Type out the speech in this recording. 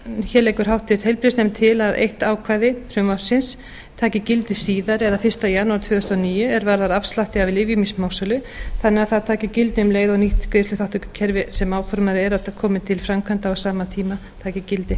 hér leggur háttvirtur heilbrigðisnefnd til að eitt ákvæði frumvarpsins taki gildi síðar eða fyrsta janúar tvö þúsund og níu er varðar afslætti af lyfjum í smásölu þannig að það taki gildi um leið og nýtt greiðsluþátttökukerfi sem áformað er að komi til framkvæmda á sama tíma taki gildi